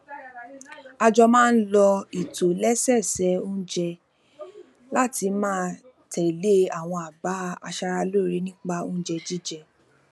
a jọ máa ń lo ìtòlẹsẹẹsẹ oúnjẹ láti máa tèlé àwọn àbá aṣaraloore nípa oúnjẹ jíjẹ